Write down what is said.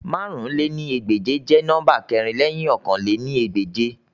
Màrún lé ní ẹgbẹ́je jẹ nọmba kẹrin lẹhin ọ̀kan lé ní ẹgbẹ́je